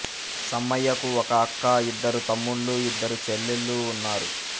సమ్మయ్యకు ఒక అక్క ఇద్దరు తమ్ముళ్ళు ఇద్దరు చెల్లెల్లు ఉన్నారు